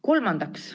Kolmandaks.